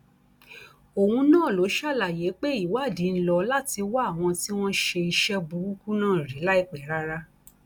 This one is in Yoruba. òun náà ló ṣàlàyé pé ìwádìí ń lò láti wá àwọn tí wọn ṣe iṣẹ burúkú náà rí láìpẹ rárá